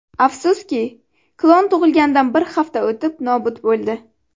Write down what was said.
Afsuski, klon tug‘ilganidan bir hafta o‘tib nobud bo‘ldi.